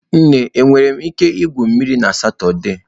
Nne, enwere m ike igwu mmiri na Satọde?